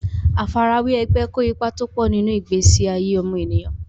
Àfarawé ẹgbẹ́ kó ipa tọ́pọ̀ nínú ìgbésí ayé ọmọnìyàn.